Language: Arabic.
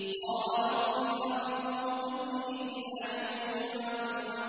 قَالَ رَبِّ فَأَنظِرْنِي إِلَىٰ يَوْمِ يُبْعَثُونَ